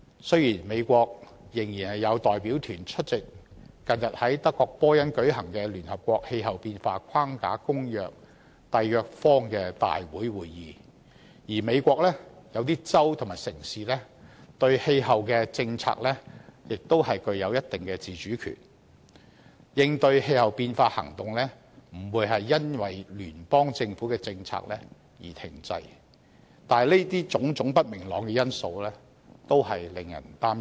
雖然美國仍然有代表團出席近日在德國波恩舉行的《聯合國氣候變化框架公約》締約方大會會議，而美國一些州和城市對氣候政策亦具有一定自主權，應對氣候變化行動不會因聯邦政府的政策而停滯，但這些種種不明朗的因素均令人擔憂。